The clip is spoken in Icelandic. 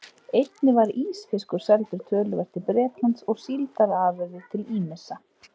Einnig var ísfiskur seldur töluvert til Bretlands og síldarafurðir til ýmissa